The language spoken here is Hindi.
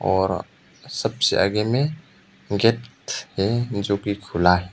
और सबसे आगे में गेट हैं जो खुला है।